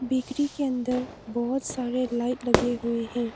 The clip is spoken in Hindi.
बेकरी के अंदर बहुत सारे लाइट लगे हुए हैं।